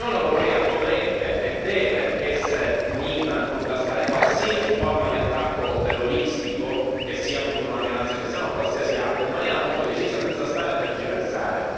L'Unione europea dovrebbe e deve essere unita nel contrastare qualsiasi forma di attacco terroristico, che sia contro una minoranza cristiana o qualsiasi altra, in maniera molto decisa senza stare a tergiversare.